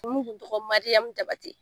dun tɔgɔ Mariyamu Jabate.